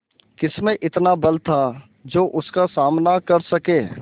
किसमें इतना बल था जो उसका सामना कर सके